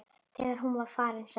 Þegar hún var farin sagði